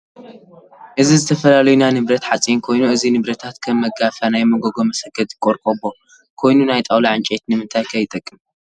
እዚ ዝተፈላላዩ ናይ ንብረት ሓፂን ኮይኑ እዚ ንብረታት ከም መጋፊያ፣ ናይ መጎጎ መስክተቲ ቆርቀቦ ኮይኑ ናይ ጣውላ ዕንጨይቲ ንምንታይ ከ ይጠቅሚ ?